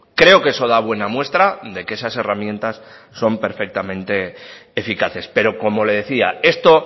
creo que eso da buena muestra de que esas herramientas son perfectamente eficaces pero como le decía esto